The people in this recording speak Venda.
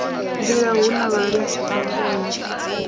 mbila hu na vhalidzi vhanzhi